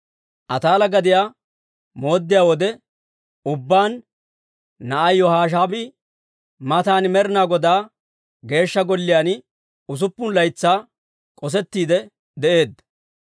Ataala gadiyaa mooddiyaa wode ubbaan, na'ay Yihoshebaa'i matan Med'ina Godaa Geeshsha Golliyaan usuppun laytsaa k'osettiide de'eedda.